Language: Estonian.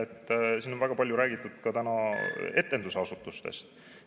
Siin on täna väga palju räägitud etendusasutustest.